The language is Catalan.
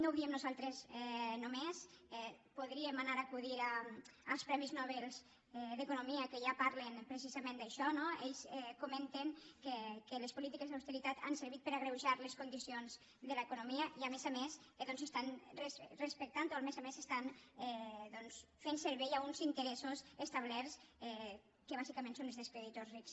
no ho diem nosaltres només podríem anar acudir als premis nobel d’economia que ja parlen precisament d’això no ells comenten que les polítiques d’austeritat han servit per agreujar les condicions de l’economia i a més a més doncs estan respectant ho a més a més doncs estan fent servei a uns interessos establerts que bàsicament són els dels creditors rics